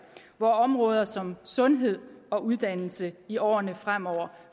hvor områder som sundhed og uddannelse i årene fremover